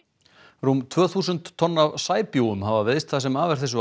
rúm tvö þúsund tonn af sæbjúgum hafa veiðst það sem af er þessu